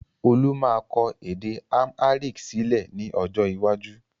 Olú máa kọ èdè amharic sílẹ̀ ni ọjọ́ iwájú